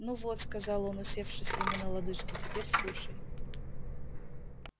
ну вот сказал он усевшись ему на лодыжки теперь слушай